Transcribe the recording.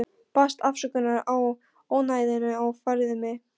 Baðst afsökunar á ónæðinu og færði mig.